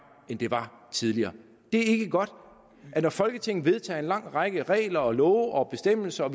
end det var tidligere det er ikke godt når folketinget vedtager en lang række regler og love og bestemmelser